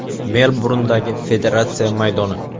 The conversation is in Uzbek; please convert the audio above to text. Melburndagi Federatsiya maydoni.